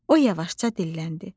O yavaşca dilləndi: